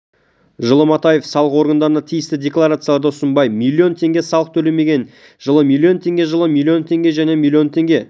жылы матаев салық органдарына тиісті декларацияларды ұсынбай млн теңге салық төлемеген жылы млн теңге жылы млн теңге және жылы млн теңге